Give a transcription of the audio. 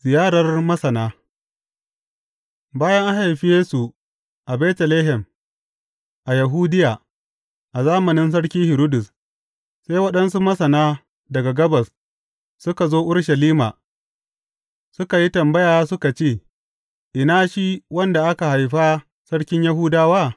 Ziyarar Masana Bayan an haifi Yesu a Betlehem, a Yahudiya, a zamanin Sarki Hiridus, sai waɗansu Masana, daga gabas suka zo Urushalima suka yi tambaya suka ce, Ina shi wanda aka haifa sarkin Yahudawa?